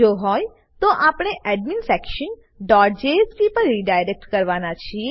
જો હોય તો આપણે adminsectionજેએસપી પર રીડાયરેક્ટ કરવાના છીએ